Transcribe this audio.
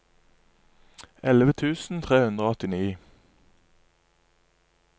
elleve tusen tre hundre og åttini